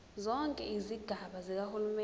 zonke izigaba zikahulumeni